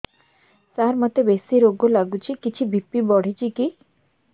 ସାର ମୋତେ ବେସି ରାଗ ଲାଗୁଚି କିଛି ବି.ପି ବଢ଼ିଚି କି